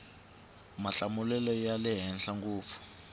mahlamulelo ya le henhla ngopfu